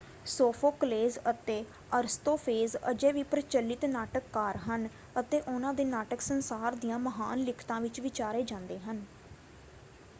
Sophocles ਅਤੇ Aristophanes ਅਜੇ ਵੀ ਪ੍ਰਚਲਿਤ ਨਾਟਕਕਾਰ ਹਨ ਅਤੇ ਉਹਨਾਂ ਦੇ ਨਾਟਕ ਸੰਸਾਰ ਦੀਆਂ ਮਹਾਨ ਲਿਖਤਾਂ ਵਿੱਚ ਵਿਚਾਰੇ ਜਾਂਦੇ ਹਨ।